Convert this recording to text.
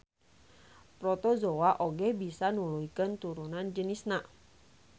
Protozoa oge bisa nuluykeun turunan jenisna.